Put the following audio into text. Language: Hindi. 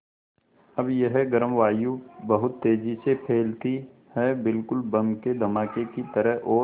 अब यह गर्म वायु बहुत तेज़ी से फैलती है बिल्कुल बम के धमाके की तरह और